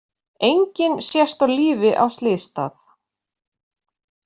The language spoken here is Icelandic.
Enginn sést á lífi á slysstað